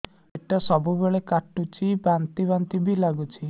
ପେଟ ସବୁବେଳେ କାଟୁଚି ବାନ୍ତି ବାନ୍ତି ବି ଲାଗୁଛି